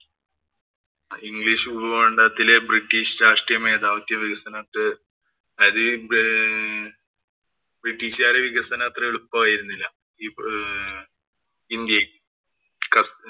English ഉപഭൂഖണ്ഡത്തിലെ British രാഷ്ട്രീയ മേധാവിത്വ വികസനത്തെ ബ്രിട്ടീഷുകാരുടെ വികസനം അത്ര എളുപ്പമായിരുന്നില്ല. ഇന്‍ഡ്യയില്‍ ക്സ